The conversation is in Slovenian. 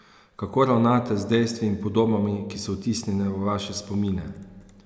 Kako ravnate z dejstvi in podobami, ki so vtisnjene v vaše spomine?